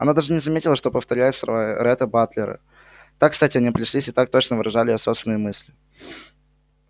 она даже не заметила что повторяет слова ретта батлера так кстати они пришлись и так точно выражали её собственные мысли